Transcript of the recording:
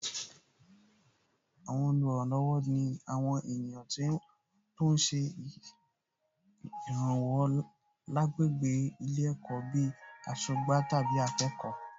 Àwọn olùrànilọ́wọ̀ ni àwọn ènìyàn tó ń ṣe ìràwọ̀ lágbègbè ilé ẹ̀kọ́ bíi aṣọ́gbà tàbí akọ̀wé